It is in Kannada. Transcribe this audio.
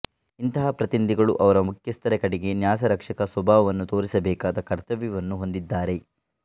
ಇಂತಹ ಪ್ರತಿನಿಧಿಗಳು ಅವರ ಮುಖ್ಯಸ್ಥರ ಕಡೆಗೆ ನ್ಯಾಸರಕ್ಷಕ ಸ್ವಭಾವವನ್ನು ತೋರಿಸಬೇಕಾದ ಕರ್ತವ್ಯವನ್ನು ಹೊಂದಿರುತ್ತಾರೆ